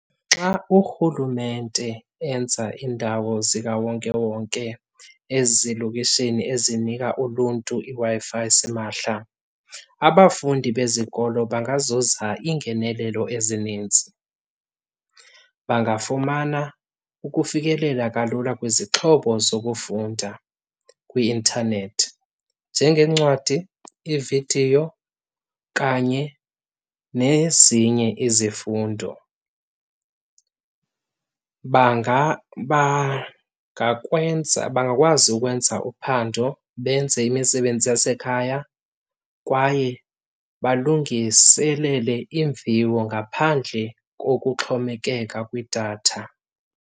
Xa urhulumente enza iindawo zikawonkewonke ezilokishini ezinika uluntu iWi-Fi simahla, abafundi bezikolo bangazuza iingenelelo ezininzi. Bangafumana ukufikelela kalula kwizixhobo zokufunda kwi-intanethi njengeencwadi, iividiyo kanye nezinye izifundo. Banga bangakwenza, bangakwazi ukwenza uphando benze imisebenzi yasekhaya kwaye balungiselele iimviwo ngaphandle kokuxhomekeka kwidatha.